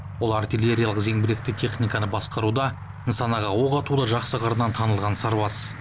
ол артиллериялық зеңбіректі техниканы басқаруда нысанаға оқ атуда жақсы қырынан танылған сарбаз